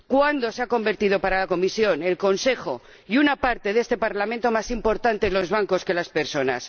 ¿Cuándo se han convertido, para la Comisión, el Consejo y una parte de este Parlamento, en más importantes los bancos que las personas?